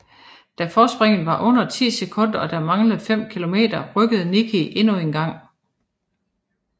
Da forspringet var under 10 sekunder og der manglede 5 km rykkede Nicki endnu engang